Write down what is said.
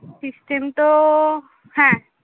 system তো হ্যাঁ।